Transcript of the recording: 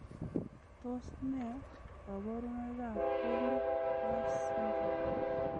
Tos nee koburoikab Woolly hair syndrome?